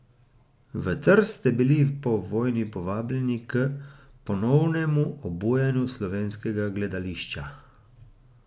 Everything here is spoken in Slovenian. V Trst ste bili po vojni povabljeni k ponovnemu obujanju slovenskega gledališča.